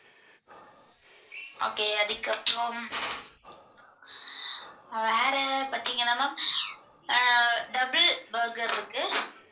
okay அதுக்கப்புறம் வேற பாத்தீங்கன்னா ma'am அஹ் double burger இருக்கு.